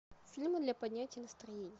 фильмы для поднятия настроения